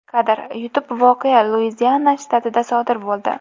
Kadr: YouTube Voqea Luiziana shtatida sodir bo‘ldi.